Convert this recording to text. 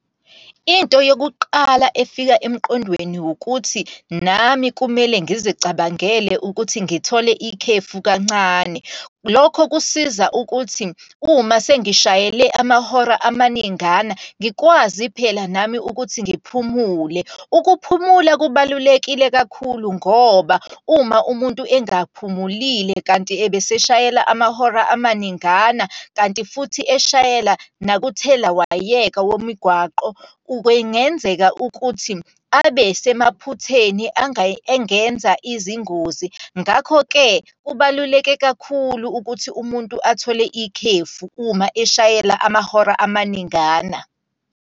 Into yokuqala efika emqondweni wukuthi, nami kumele ngizicabangele ukuthi ngithole ikhefu kancane. Lokho kusiza ukuthi, uma sengishayela amahora amaningana, ngikwazi phela nami ukuthi ngiphumule. Ukuphumula kubalulekile kakhulu ngoba, uma umuntu engaphumulile kanti ebeseshayela amahora amaningana, kanti futhi eshayela nokuthelawayeka womigwaqo. Kwengenzeka ukuthi abe semaphutheni engenza izingozi. Ngakho-ke kubaluleke kakhulu ukuthi umuntu athole ikhefu uma eshayela amahora amaningana.